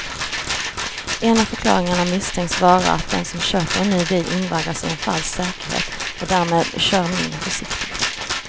En av förklaringarna misstänks vara att den som köper en ny bil invaggas i en falsk säkerhet och därmed kör mindre försiktigt.